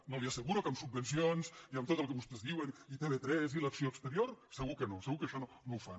no li asseguro que amb subvencions i amb tot el que vostès diuen i tv3 i l’acció exterior segur que no segur que això no ho fan